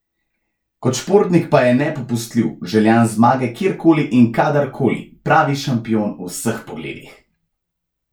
Kot športnik pa je nepopustljiv, željan zmage kjerkoli in kadarkoli, pravi šampion v vseh pogledih.